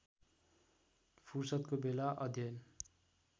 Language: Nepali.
फुर्सदको बेला अध्ययन